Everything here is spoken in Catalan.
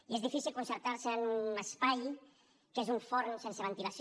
i és difícil concentrar se en un espai que és un forn sense ventilació